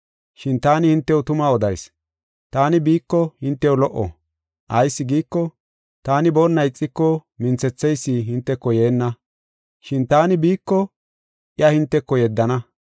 Shin taani hintew tuma odayis; taani biiko hintew lo77o. Ayis giiko, taani boonna ixiko minthetheysi hinteko yeenna. Shin taani biiko iya hinteko yeddana.